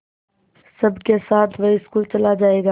सबके साथ वह स्कूल चला जायेगा